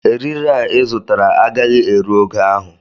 Eriri a ị zụtara agaghị eru ogo ahụ